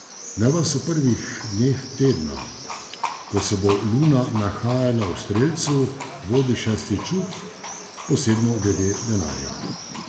Naj vas v prvih dneh tedna, ko se bo luna nahajala v strelcu vodi šesti čut, posebno glede denarja.